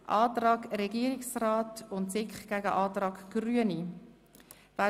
Es steht der Antrag SiK und Regierungsrat dem Antrag Grüne gegenüber.